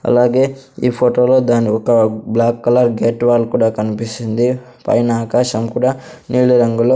అలాగే ఈ ఫొటో లో దానీ ఒక బ్లాక్ కలర్ గేట్ వాల్ కుడా కన్పిస్తుంది పైనా ఆకాశం కుడా నీలి రంగు లో --